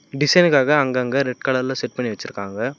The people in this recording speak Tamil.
டிசைனுக்காக அங்கங்க ரெட் கலர்ல செட் பண்ணி வெச்சுருக்காங்க.